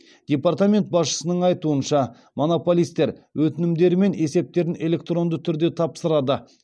департамент басшысының айтуынша монополистер өтінімдері мен есептерін электронды түрде тапсырады